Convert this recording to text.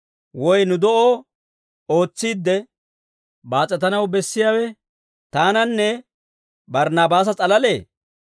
Woy nu de'oo ootsiidde baas'etanaw bessiyaawe taananne Barnaabaasa s'alalee?